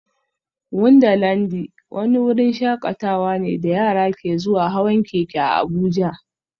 Wundarlandi wani wurin shakatawa ne da yara ke zuwa hawan keke a Abuja